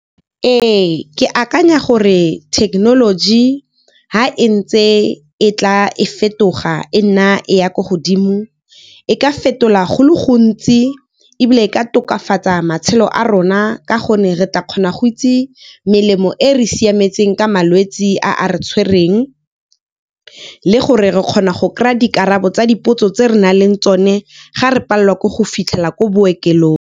Ee, ke akanya gore thekenoloji ha e ntse e tla e fetoga e nna e ya ko godimo, e ka fetola go le gontsi ebile e ka tokafatsa matshelo a rona ka gonne re tla kgona go itse melemo e re siametseng ka malwetse a a re tshwereng, le gore re kgona go kry-a dikarabo tsa dipotso tse re nang le tsone ga re palelwa ke go fitlhela ko bookelong.